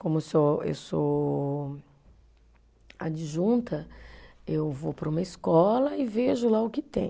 Como eu sou, eu sou adjunta, eu vou para uma escola e vejo lá o que tem.